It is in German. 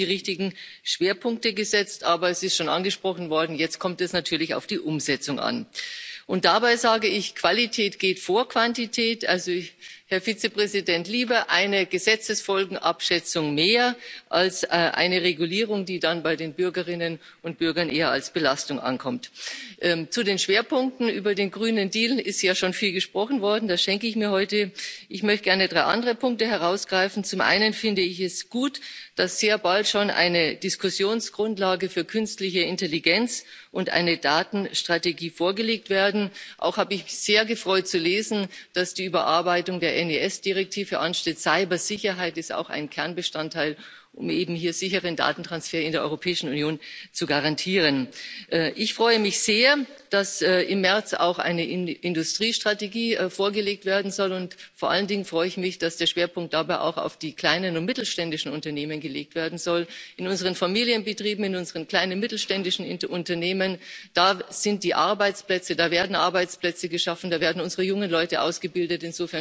Frau Präsidentin, Herr Vizepräsident, liebe Kolleginnen, liebe Kollegen! Ich denke, die Kommission hat ein wirklich ambitioniertes Programm für 2020 vorgelegt und auch die richtigen Schwerpunkte gesetzt, aber es ist schon angesprochen worden jetzt kommt es natürlich auf die Umsetzung an. Und dabei, sage ich, geht Qualität vor Quantität. Also Herr Vizepräsident, lieber eine Gesetzesfolgenabschätzung mehr als eine Regulierung, die dann bei den Bürgerinnen und Bürgern eher als Belastung ankommt. Zu den Schwerpunkten Über den grünen Deal ist ja schon viel gesprochen worden, das schenke ich mir heute. Ich möchte gern drei andere Punkte herausgreifen Zum einen finde ich es gut, dass sehr bald schon eine Diskussionsgrundlage für künstliche Intelligenz und eine Datenstrategie vorgelegt werden. Auch habe ich mich sehr gefreut, zu lesen, dass die Übearbeitung der NIS Richtlinie ansteht. Cybersicherheit ist auch ein Kernbestandteil, um hier sicheren Datentransfer in der Europäischen Union zu garantieren. Ich freue mich sehr, dass im März auch eine Industriestrategie vorgelegt werden soll, und vor allen Dingen freue ich mich, dass der Schwerpunkt dabei auch auf die kleinen und mittelständischen Unternehmen gelegt werden soll. In unseren Familienbetrieben, in unseren kleinen und mittelständischen Unternehmen, da sind die Arbeitsplätze, da werden Arbeitsplätze geschaffen, da werden unsere jungen Leute ausgebildet!